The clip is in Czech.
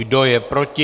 Kdo je proti?